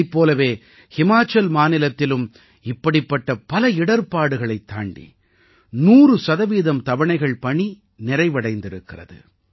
இதைப் போலவே ஹிமாச்சல் மாநிலத்திலும் இப்படிப்பட்ட பல இடர்பாடுங்களைத் தாண்டி 100 சதவீதம் தவணைகள் பணி நிறைவடைந்திருக்கிறது